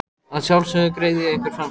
Að sjálfsögðu greiði ég ykkur fyrir fram.